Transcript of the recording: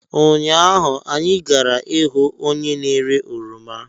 Ụnyaahụ, anyị gara ihu onye na-ere oroma.